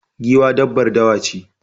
Giwa dabbar dawa ce